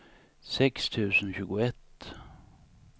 sex tusen tjugoett